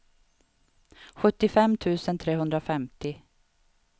sjuttiofem tusen trehundrafemtio